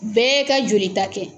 Bɛɛ ka joli ta kɛ